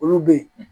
Olu be yen